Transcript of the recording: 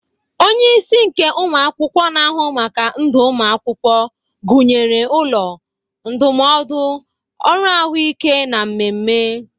Onye isi nke ụmụ akwụkwọ na-ahụ maka ndụ ụmụ akwụkwọ, gụnyere ụlọ, ndụmọdụ, ọrụ ahụike, na mmemme.